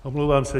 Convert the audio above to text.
Omlouvám se.